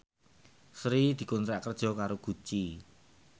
Sri dikontrak kerja karo Gucci